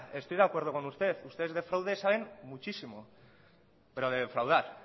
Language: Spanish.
estoy de acuerdo con usted ustedes de fraude saben muchísimo pero de defraudar